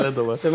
Məsələ də var.